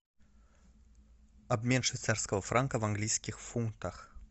обмен швейцарского франка в английских фунтах